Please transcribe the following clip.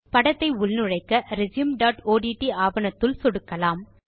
படத்தை உள்நுழைக்க resumeஒட்ட் ஆவணத்துள் சொடுக்கலாம்